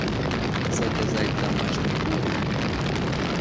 заказать домашний ужин